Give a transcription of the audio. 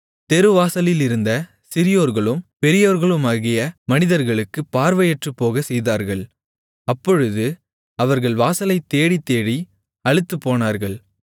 தெருவாசலிலிருந்த சிறியோர்களும் பெரியோர்களுமாகிய மனிதர்களுக்குப் பார்வையற்றுப்போகச் செய்தார்கள் அப்பொழுது அவர்கள் வாசலைத் தேடித்தேடி அலுத்துப்போனார்கள்